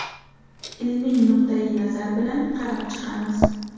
Ilmiy nuqtai-nazar bilan qarab chiqamiz.